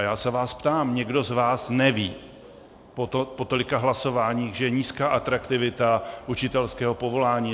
A já se vás ptám: Někdo z vás neví po tolika hlasováních, že je nízká atraktivita učitelského povolání?